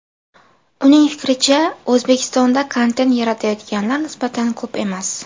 Uning fikricha, O‘zbekistonda kontent yaratayotganlar nisbatan ko‘p emas.